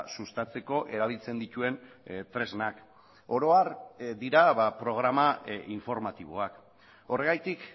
sustatzeko erabiltzen dituen tresnak oro har dira programa informatiboak horregatik